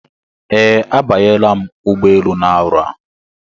Ee, a banyela m ụgbọelu na-arọ a.